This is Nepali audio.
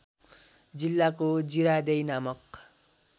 जिल्लाको जिरादेई नामक